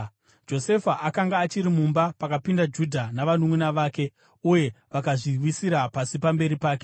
Josefa akanga achiri mumba pakapinda Judha navanunʼuna vake, uye vakazviwisira pasi pamberi pake.